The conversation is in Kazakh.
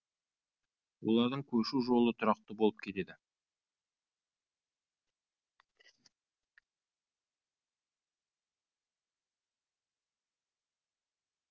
олардың көшу жолы тұрақты болып келеді